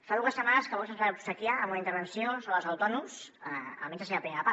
fa dues setmanes que vox ens va obsequiar amb una intervenció sobre els autònoms almenys la seva primera part